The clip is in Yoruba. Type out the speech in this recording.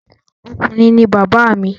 Ọkùnrin ní bàbá mi.